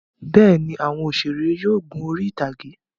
Bẹ́ẹ̀ ni, àwọn òṣèré yóò gun orí-ìtàgé.